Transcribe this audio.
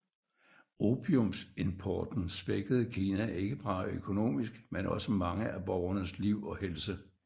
Opiumsimporten svækkede Kina ikke bare økonomisk men også mange af borgernes liv og helse